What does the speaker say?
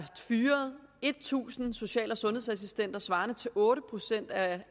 fyret tusind social og sundhedsassistenter svarende til otte procent af